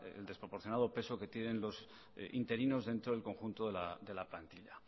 el desproporcionado peso que tienen los interinos dentro del conjunto de la plantilla